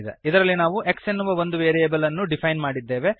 ಇದರಲ್ಲಿ ನಾವು x ಎನ್ನುವ ಒಂದು ವೇರಿಯಬಲ್ ಅನ್ನು ಡಿಫೈನ್ ಮಾಡಿದ್ದೇವೆ